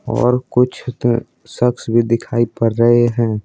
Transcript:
और कुछ द शख्स भी दिखाई पर रहे हैं।